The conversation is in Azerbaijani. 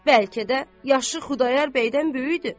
Bəlkə də yaşı Xudayar bəydən böyükdür.